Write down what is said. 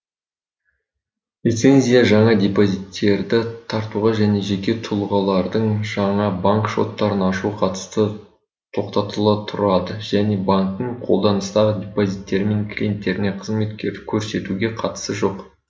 лицензия жаңа депозиттерді тартуға және жеке тұлғалардың жаңа банк шоттарын ашуға қатысты тоқтатыла тұрады және банктің қолданыстағы депозиттері мен клиенттеріне қызмет көрсетуге қатысы жоқ